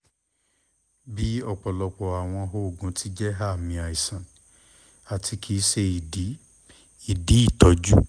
bi ọpọlọpọ awọn oogun ti jẹ aami aisan ati kii ṣe idi idi itọju